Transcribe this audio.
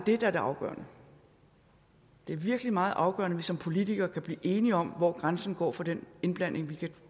er det afgørende det er virkelig meget afgørende at vi som politikere kan blive enige om hvor grænsen går for den indblanding vi kan